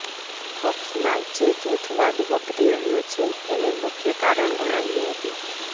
પક્ષમાં જે જુથવાદ વકરી રહ્યો છે તેને મુખ્ય કારણ ગણાવ્યું હતું